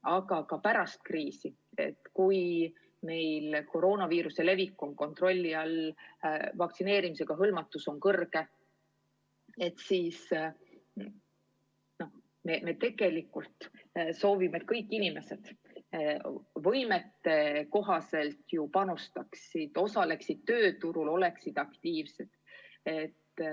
Aga ka pärast kriisi, kui meil koroonaviiruse levik on kontrolli all ja vaktsineerimisega hõlmatus on kõrge, me tegelikult soovime, et kõik inimesed võimetekohaselt panustaksid, osaleksid tööturul, oleksid aktiivsed.